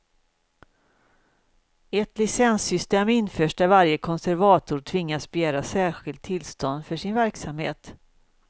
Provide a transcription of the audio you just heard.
Ett licenssystem införs där varje konservator tvingas begära särskilt tillstånd för sin verksamhet.